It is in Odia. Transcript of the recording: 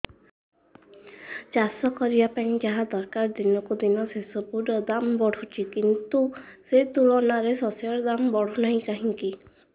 ଚାଷ କରିବା ପାଇଁ ଯାହା ଦରକାର ଦିନକୁ ଦିନ ସେସବୁ ର ଦାମ୍ ବଢୁଛି କିନ୍ତୁ ସେ ତୁଳନାରେ ଶସ୍ୟର ଦାମ୍ ବଢୁନାହିଁ କାହିଁକି